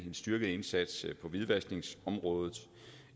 en styrket indsats på hvidvaskningsområdet